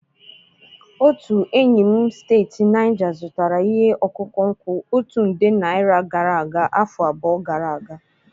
Otu enyi m steeti Naijaa zụtara ihe ọkụkụ nkwụ otu nde naira gara aga afọ abụọ gara aga.